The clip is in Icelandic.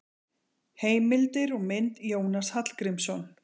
Heimildir og mynd: Jónas Hallgrímsson.